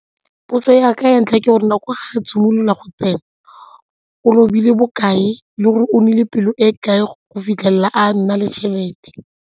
Potso ya ka ya ntlha ke gore nako e ga e simolola go tsena o lobile bokae le gore o nnile pelo e kae go fitlhelela a nna le tšhelete.